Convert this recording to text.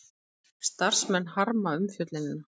Starfsmenn harma umfjöllunina